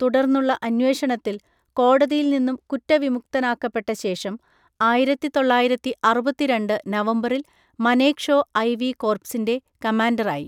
തുടർന്നുള്ള അന്വേഷണത്തിൽ കോടതിയിൽ നിന്നും കുറ്റവിമുക്തനാക്കപ്പെട്ട ശേഷം, ആയിരത്തി തൊള്ളായിരത്തി അറുപത്തി രണ്ട് നവംബറിൽ മനേക്ഷോ ഐവി കോർപ്സിൻ്റെ കമാൻഡറായി.